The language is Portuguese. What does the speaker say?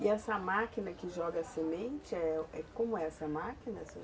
E essa máquina que joga a semente, é, como é essa máquina?